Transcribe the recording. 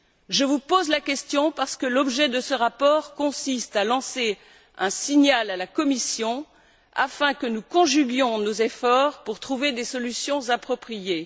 Je vous pose la question parce que l'objet de ce rapport consiste à lancer un signal à la Commission afin que nous conjuguions nos efforts pour trouver des solutions appropriées.